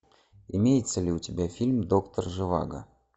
имеется ли у тебя фильм доктор живаго